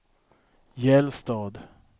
Gällstad